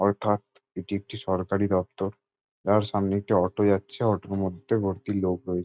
অর্থাৎ এটি একটি সরকারি দপ্তর তার সামনে একটি অটো যাচ্ছে অটোর মধ্যে ভর্তি লোক রয়ে--